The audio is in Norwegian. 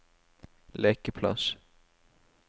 lekeplass